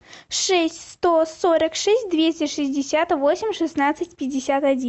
шесть сто сорок шесть двести шестьдесят восемь шестнадцать пятьдесят один